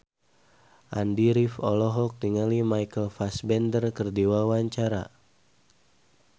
Andy rif olohok ningali Michael Fassbender keur diwawancara